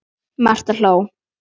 Marta hló.